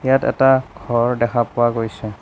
ইয়াত এটা ঘৰ দেখা পোৱা গৈছে।